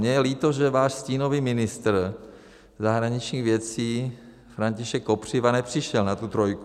Mně je líto, že váš stínový ministr zahraničních věcí František Kopřiva nepřišel na tu trojku.